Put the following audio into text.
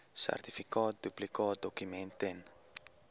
sertifikaat duplikaatdokument ten